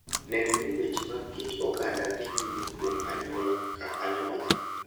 Neno ni weche mag kit oganda dhi nyime kuom anyuola ka anyuola.